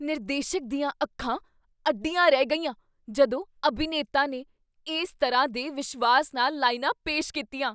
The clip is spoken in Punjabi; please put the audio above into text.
ਨਿਰਦੇਸ਼ਕ ਦੀਆਂ ਅੱਖਾਂ ਅੱਡੀਆਂ ਰਹਿ ਗਈਆਂ ਜਦੋਂ ਅਭਿਨੇਤਾ ਨੇ ਇਸ ਤਰ੍ਹਾਂ ਦੇ ਵਿਸ਼ਵਾਸ ਨਾਲ ਲਾਈਨਾਂ ਪੇਸ਼ ਕੀਤੀਆਂ।